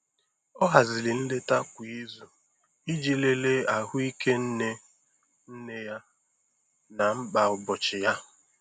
O haziri nleta kwa izu iji lelee ahụike nne nne ya na mkpa ụbọchị ya.